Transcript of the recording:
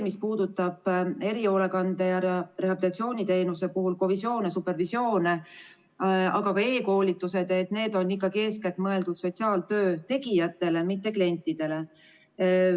Mis puudutab erihoolekande- ja rehabilitatsiooniteenuse puhul kovisioone, supervisioone, aga ka e-koolitusi, siis need on ikkagi eeskätt mõeldud sotsiaaltöö tegijatele, mitte klientidele.